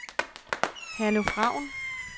Herluf Raun